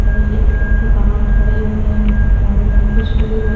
मगर एक व्यक्ति बाहर खड़े हुए हैं खड़े हैं कुछ लोग इधर --